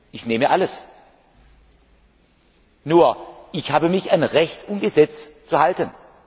Ich nehme alles! Nur ich habe mich an Recht und Gesetz zu halten.